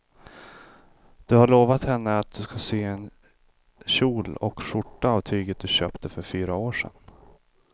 Du har lovat henne att du ska sy en kjol och skjorta av tyget du köpte för fyra år sedan.